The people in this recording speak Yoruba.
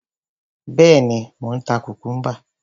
Bẹ́ẹ̀ni, mò ń ta kùkúḿbà.